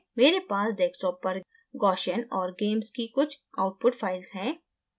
मेरे पास desktop पर gaussian और gamess की कुछ output files हैं